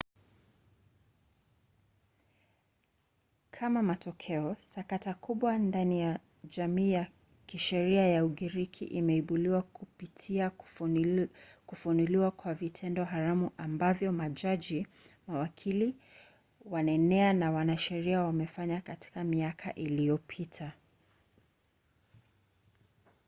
kama matokeo sakata kubwa ndani ya jamii ya kisheria ya ugiriki imeibuliwa kupitia kufunuliwa kwa vitendo haramu ambavyo majaji mawakili wanenea na wanasheria wamefanya katika miaka iliyopita